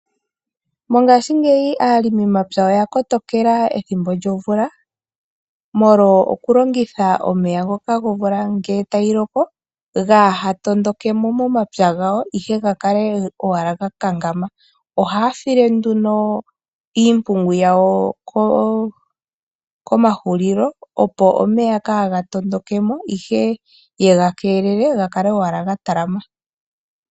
Mongashingeyi aalimi mapya oya kotokela ethimbo lyo mvula, molwa oku longitha omeya ngoka gomvula, ngele tayi loko, gaa ha tondokemo momapya gawo, ihe ga kale ga kankama. Ohaya file nduno iimpungu yawo komahulilo, opo omeya kaa ga tondokemo, ihe yega kelele, ga kale wala ga talama.